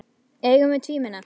Eigum við að tvímenna?